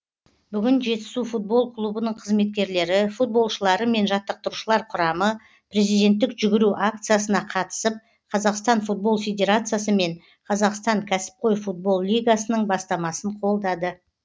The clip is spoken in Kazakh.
бүгін жетісу футбол клубының қызметкерлері футболшылары мен жаттықтырушылар құрамы президенттік жүгіру акциясына қатысып қазақстан футбол федерациясы мен қазақстан кәсіпқой футбол лигасының бастамасын қолдады